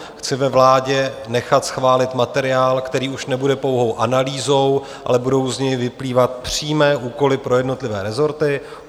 Chci ve vládě nechat schválit materiál, který už nebude pouhou analýzou, ale budou z něj vyplývat přímé úkoly pro jednotlivé rezorty.